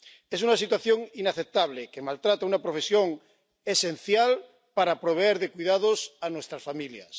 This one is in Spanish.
Es una situación inaceptable que maltrata a una profesión esencial para proveer de cuidados a nuestras familias.